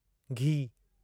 गीहु